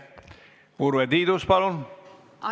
Urve Tiidus, palun!